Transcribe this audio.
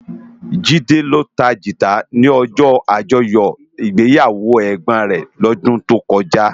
Jide ló tá gitá ni òjò ájòyò igbéyáwó ègbón rè lòdún tókòjá